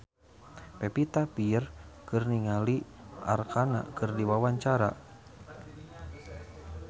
Pevita Pearce olohok ningali Arkarna keur diwawancara